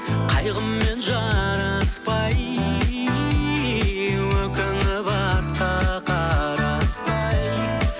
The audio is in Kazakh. қайғыммен жараспай өкініп артқа қараспай